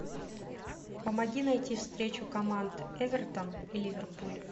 помоги найти встречу команд эвертон и ливерпуль